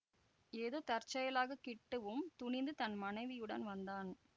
ஏதோ தற்செயலாக கிட்டுவும் துணிந்து தன் மனைவியுடன் வந்தான்